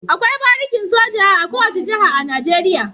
Akwai barikin soja a kowace jiha a Najeriya.